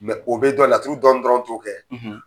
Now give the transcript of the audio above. o bɛ dɔn laturu dɔɔni dɔrɔn t'o kɛ.